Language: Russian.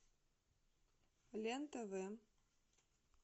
лен тв